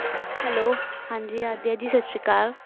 Hello ਹਾਂਜੀ ਆਧਿਆ ਜੀ ਸਤਿ ਸ੍ਰੀ ਅਕਾਲ